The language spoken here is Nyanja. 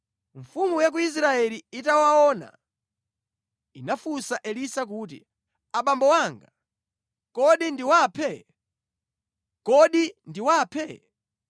Mfumu ya ku Israeli itawaona, inafunsa Elisa kuti, “Abambo anga, kodi ndiwaphe? Kodi ndiwaphe?”